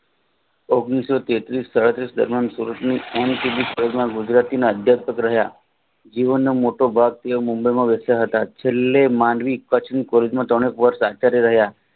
ઓગણીસો તેત્રીશમાં દરમિયાન સુરતની અધ્યક્ષ રહ્યા જીવનનો મોટો ભાગ મુંબઈમાં વહેચ્યા હતા છેલ્લે માંડવી કચ્છની વર્ષ રહા